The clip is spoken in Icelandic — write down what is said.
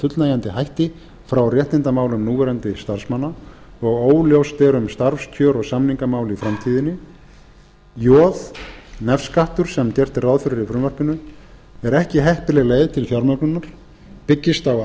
fullnægjandi hætti frá réttindamálum núverandi starfsmanna og óljóst er um starfskjör og samningamál í framtíðinni j nefskattur sem gert er ráð fyrir í frumvarpinu er ekki heppileg leið til fjármögnunar byggist á